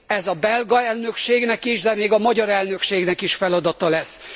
Ez a belga elnökségnek is, de még a magyar elnökségnek is feladata lesz.